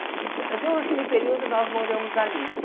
Entã então, naquele período, nós moramos ali.